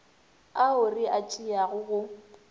ao re a tšeago go